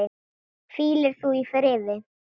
Hvíli þú í friði.